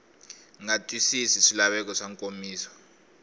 nga twisisi swilaveko swa nkomiso